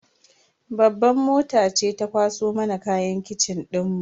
Babban mota ce ta kwaso mana kayan kitchen dinmu.